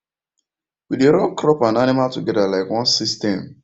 we dey run crop and animal together like one system